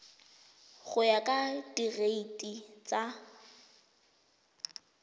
go ya ka direiti tsa